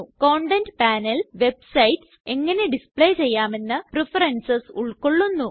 content panel websites എങ്ങനെ display ചെയ്യാമെന്ന preferences ഉൾകൊള്ളുന്നു